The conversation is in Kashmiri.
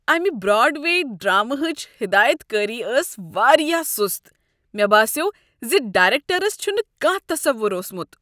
امہ براڈوے ڈراما ہچ ہدایتکاری ٲس وارایاہ سُست۔ مےٚ باسیوٚو ز، ڈایریکٹرس چھُنہ کانہہ تصوُر اوسمت۔